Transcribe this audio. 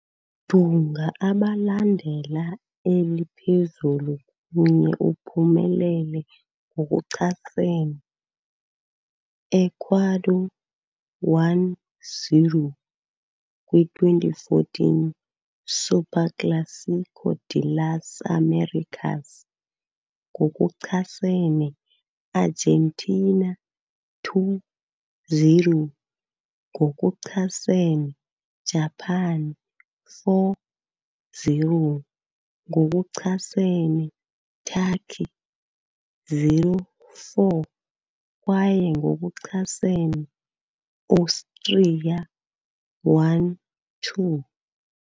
Dunga abalandela eli phezulu kunye uphumelele ngokuchasene Ecuador, 1-0, kwi - 2014 Superclásico de las Américas ngokuchasene Argentina, 2-0, ngokuchasene Japan, 4-0, ngokuchasene Turkey, 0-4, kwaye ngokuchasene Austria, 1-2.